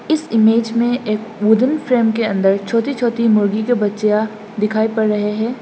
इस इमेज में एक वुडन फ्रेम के अंदर छोटी छोटी मुर्गी के बच्चियां दिखाई पड़ रहे हैं।